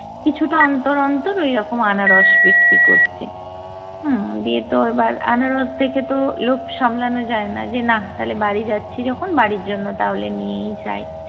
কিছুটা অন্তর অন্তর ওইরকম আনারস বিক্রি করছে। হুম দিয়ে তো এবার আনারস দেখে তো লোভ সামলানো যায় না, যে নাহ্ তাহলে বাড়ি যাচ্ছি যখন বাড়ির জন্য তাহলে নিয়েই যাই।